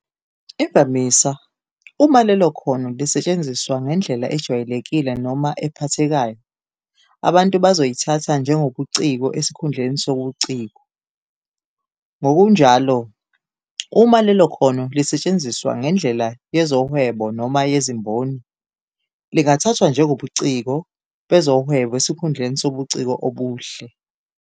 Imvamisa, uma lelo khono lisetshenziswa ngendlela ejwayelekile noma ephathekayo, abantu bazoyithatha njengobuciko esikhundleni sobuciko. Ngokunjalo, uma lelo khono lisetshenziswa ngendlela yezohwebo noma yezimboni, lingathathwa njengobuciko bezohwebo esikhundleni sobuciko obuhle.